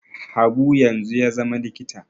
Habu yanzu ya zama likita